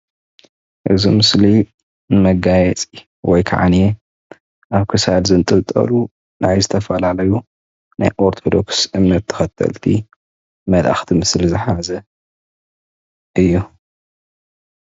እዚ ምስሊ መጋየፂ ወይ ኸዓ ኣብ ክሳድ ዝንጥልጠሉ ናይ ዝተፈላለዩ ኦሮቶድክስ እምነት ተኸተልቲ መልኣክቲ ምስሊ ዝሓዘ እዩ ።